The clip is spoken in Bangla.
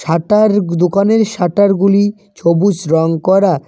খাতার দোকানের শাটার গুলি সবুজ রং করা।